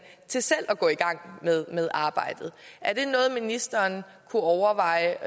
til selv at gå i gang med arbejdet er det noget ministeren kunne overveje